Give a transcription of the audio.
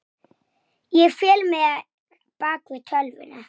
Mennta sig.